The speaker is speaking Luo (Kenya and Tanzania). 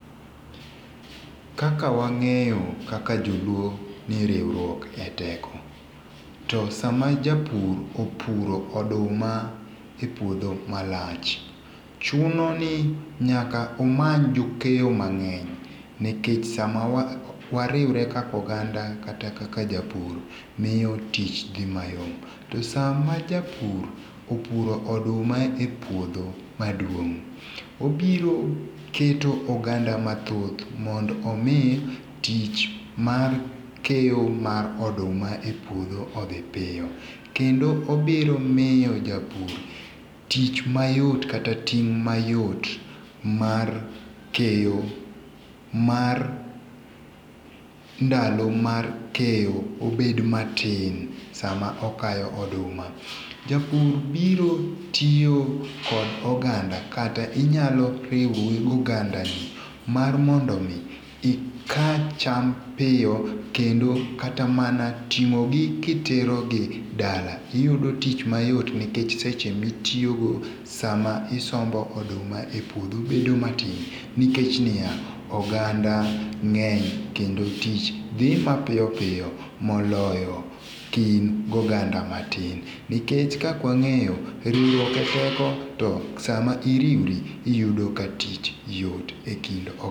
Kaka wang'eyo kaka joluo ni riwruok e teko to sa ma japur opuro oduma e puodho malach, chuno ni nyaka umany jokeyo mang'eny nikech sa ma wa riwre kaka oganda kata ka japur miyo tich dhi mayot .To sa ma japur opuro oduma e puodho ma duong obiro keto oganda mathoth mondo omi tich mar keyo mar oduma e puodho odhi piyo, kendo obiro miyo japur tich mayot kata ting' mayot mar keyo mar ndalo mar keyo obed matin sa ma okayo oduma japur biro tiyo kod oganda kata inyalo riwori gi oganda gi mar mondo mi ika cham piyo kendo kata mana ting'o ki itero gi dala iyudo tich mayot nikech seche mi itiyo go sa ma isombo oduma e puodho bedo matin nikech ni ya oganda ng'eny kendo tich dhi ma piyo piyo moloyo ka in gi oganda matin nikech kaka wang'eyo riwryok e teko to sa ma iriwri iyudo ka tich yot e kind.